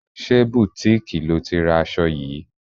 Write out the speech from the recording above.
Ṣé butiiki lo ti ra aṣọ yìí?